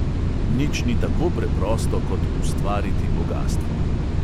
Nič ni tako preprosto kot ustvariti bogastvo.